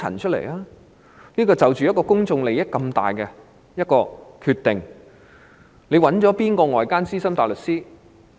在作出這個涉及公眾利益的重大決定前，她曾諮詢哪位外間資深大律師？